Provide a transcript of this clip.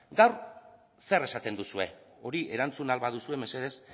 gaur zer esaten duzue hori erantzun ahal baduzue mesedez